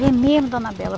É mesmo, dona Bela?